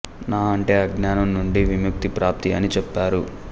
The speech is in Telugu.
న అంటే అజ్ఞానం నుండి విముక్తి ప్రాప్తి అని చెప్పారు